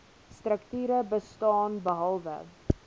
strukture bestaan behalwe